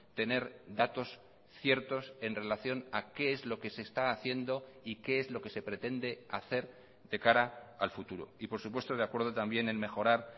tener datos ciertos en relación a qué es lo que se está haciendo y qué es lo que se pretende hacer de cara al futuro y por supuesto de acuerdo también en mejorar